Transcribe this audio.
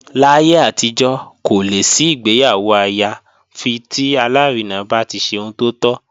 Láyé àtijọ́, kò lè sí ìgbéyàwó àyà fi tí alárinà bá ti ṣe ohun tó tọ́